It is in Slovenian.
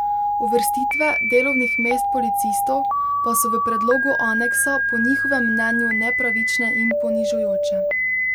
Uvrstitve delovnih mest policistov pa so v predlogu aneksa po njihovem mnenju nepravične in ponižujoče.